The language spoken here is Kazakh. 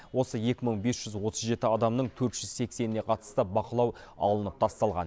осы екі мың бес жүз отыз жеті адамның төрт жүз сексеніне қатысты бақылау алынып тасталған